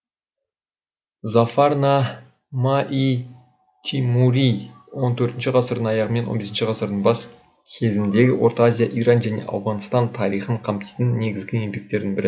зафарна ма ий тимури он төртінші ғасырдың аяғы мен он бесінші ғасырдың бас кезіндегі орта азия иран және ауғанстан тарихын қамтитын негізгі еңбектердің бірі